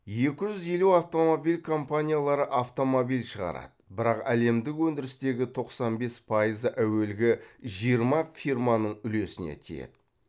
екі жүз елу автомобиль компаниялары автомобиль шығарады бірақ әлемдік өндірістегі тоқсан бес пайызы әуелгі жиырма фирманың үлесіне тиеді